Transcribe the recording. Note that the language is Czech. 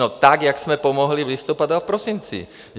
No tak jak jsme pomohli v listopadu a v prosinci.